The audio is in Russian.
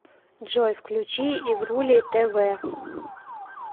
джой включи игрулей тэ вэ